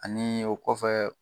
Ani o kɔfɛ